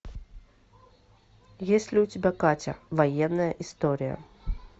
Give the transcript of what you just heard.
есть ли у тебя катя военная история